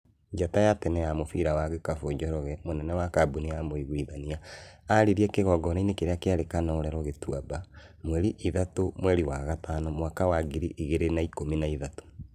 Njata ya tene ya mũbira wa gĩkabu Njoroge, mũnene wa kambuni ya Mũiguithania, aririe kĩũnganoinĩ kĩrĩa kĩarĩ Kanorero, Gĩtuamba, mweri ithatũ mweri wa gatano mwaka wa ngiri igĩrĩ na ikũmi na ithathatũ